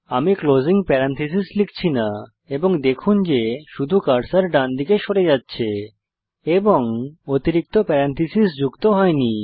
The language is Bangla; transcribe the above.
আমি ক্লোসিং প্যারেনথেসিস লিখছি না এবং দেখুন যে শুধু কার্সর ডানদিকে সরে যাচ্ছে এবং অতিরিক্ত প্যারেনথেসিস যুক্ত হয়নি